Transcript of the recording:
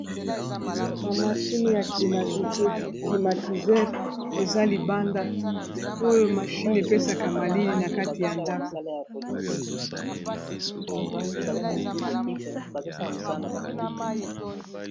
Ba mashini ya climatisere eza libanda oyo mashini epesaka malili na kati ya ndako.